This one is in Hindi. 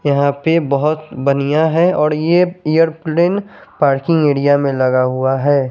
यहा पे बोहोत बनिया है और ये ऐयरप्लैने पार्किंग एरिया में लगा हुआ है ।